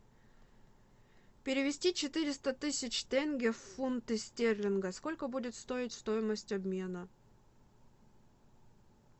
перевести четыреста тысяч тенге в фунты стерлинга сколько будет стоить стоимость обмена